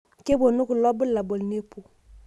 keponu kulo bulabul nepuo.